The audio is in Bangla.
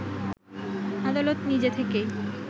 আদালত নিজে থেকেই